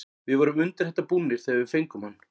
Við vorum undir þetta búnir þegar við fengum hann.